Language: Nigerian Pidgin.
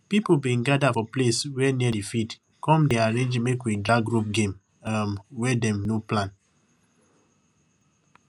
pipu bin gather for place wey near di field come dey arrange makewedragrope game um wey dem no plan